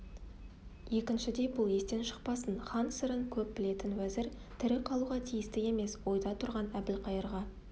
екіншідей бұл естен шықпасын хан сырын көп білетін уәзір тірі қалуға тиісті емес ойда тұрған әбілқайырға